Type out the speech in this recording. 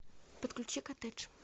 подключи коттедж